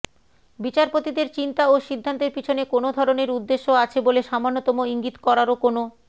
বিচারপতিদের চিন্তা ও সিদ্ধান্তের পিছনে কোনও ধরনের উদ্দেশ্য আছে বলে সামান্যতম ইঙ্গিত করারও কোনও